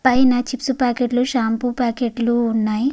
పైన chips packet లు shampoo packet లు ఉన్నాయ్.